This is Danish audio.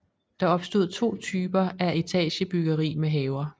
Der opstod to typer etagebyggeri med haver